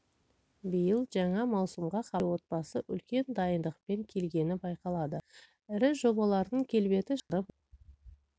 биыл жаңа маусымға хабар телеотбасы үлкен дайындықпен келгені байқалады ірі жобалардың келбеті шағын роликпен жеткізілді сапалы өнім түркі телеарналарын қызықтырып отыр